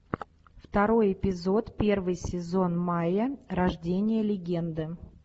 второй эпизод первый сезон майя рождение легенды